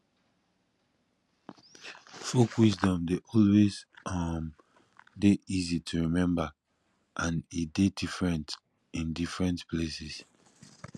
folk wisdom de always um de easy to remember and e de different in different places